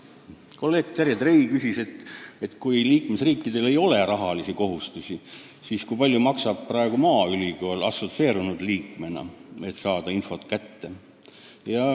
Kolleeg Terje Trei küsis, et liikmesriikidel küll ei ole rahalisi kohustusi, aga kui palju maksab praegu maaülikool assotsieerunud liikmena, et infot kätte saada.